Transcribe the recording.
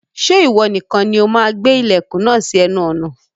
Ṣé ìwọ nìkan ni o máa gbé ilẹ̀kùn náà sí ẹnu ọ̀nà